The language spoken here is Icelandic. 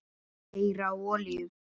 Keyra á olíu?